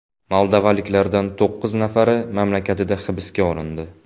Moldovaliklardan to‘qqiz nafari mamlakatida hibsga olindi.